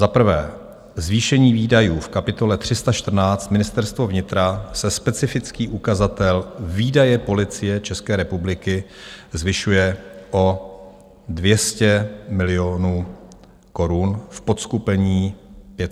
Za prvé zvýšení výdajů - v kapitole 314 Ministerstvo vnitra se specifický ukazatel Výdaje Policie České republiky zvyšuje o 200 milionů korun v podseskupení 501 Platy.